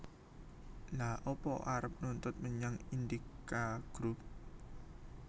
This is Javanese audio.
Lha apa arep nuntut menyang Indika Group